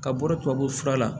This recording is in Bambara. Ka bɔ tubabu fura la